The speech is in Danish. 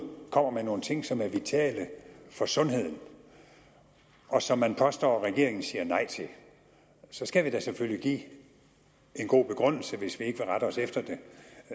kommer med nogle ting som er vitale for sundheden og som man påstår regeringen siger nej til så skal vi da selvfølgelig give en god begrundelse hvis vi ikke vil rette os efter det